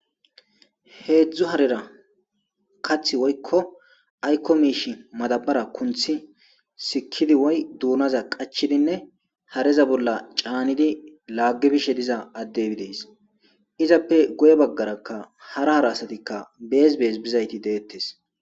Heedzdzu harera kathi woykkoaykko miishshe madaabbara kunthisikkidi woykko duunaza qachchidi caanidi efishe fiza addey de7ees.izappe guye baggarakka hara hara asati bizayti deettes.